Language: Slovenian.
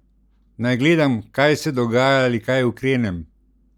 Naj gledam, kaj se dogaja ali kaj ukrenem?